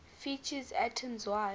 features atoms wide